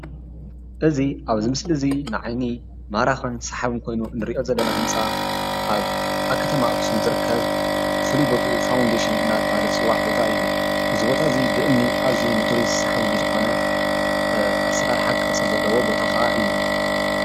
እዚ ኣብዚ ምስል ዙይ ንዓይኒ ማራኽን ሰሓብን ኮይኑ ዘለና ህንፃ ኣብ ኣብ ከተማ ኣክሱም ዝርከብ ፍሉይ ቦትኡ ፋውንዴሽን እናተበሃለ ዝፅዋዕ ቦታ እዩ። እዚ ቦታ እዙይ ንቱሪስት ኣዝዩ ሰሓቢ ብዝኮነ ኣሰራርሓ ከኣ ቅረፂ ዘለዎ ቦታ እዩ።